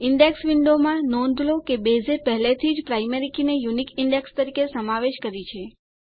index વિન્ડોમાં નોંધ લો કે બેઝે પહેલાથી જ પ્રાયમરી કી ને યૂનિક ઈન્ડેક્સ તરીકે સમાવેશ કરી છે